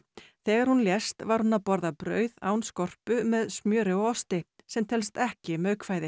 þegar hún lést var hún að borða brauð án skorpu með smjöri og osti sem telst ekki